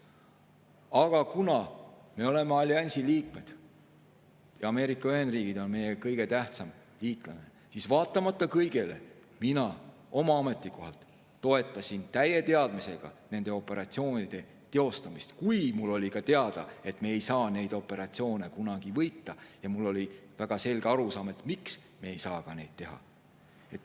Aga kuna me oleme alliansi liikmed ja Ameerika Ühendriigid on meie kõige tähtsam liitlane, siis kõigele vaatamata mina oma ametikohal toetasin täie teadmisega nende operatsioonide teostamist, kui mulle oli ka teada, et me ei saa neid operatsioone kunagi võita, ja mul oli väga selge arusaam, miks me ei saa seda teha.